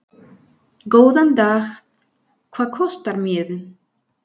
Góðan dag. Hvað kostar miðinn?